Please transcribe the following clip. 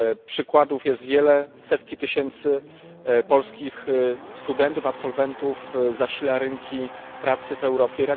Przykładów jest wiele setki tysięcy polskich studentów, absolwentów zasila rynki pracy w Europie.